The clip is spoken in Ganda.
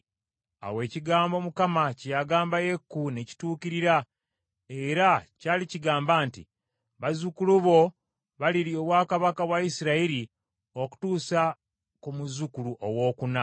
Awo ekigambo Mukama kye yagamba Yeeku ne kituukirira, era kyali kigamba nti, “Bazzukulu bo balirya obwakabaka bwa Isirayiri okutuusa ku muzzukulu owookuna.”